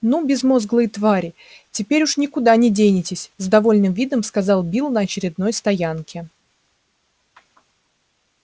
ну безмозглые твари теперь уж никуда не денетесь с довольным видом сказал билл на очередной стоянке